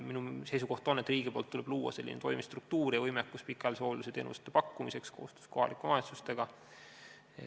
Minu seisukoht on, et riigil tuleb luua selline toimiv struktuur ja võimekus pikaajalise hoolduse teenuste pakkumiseks koostöös kohalike omavalitsustega.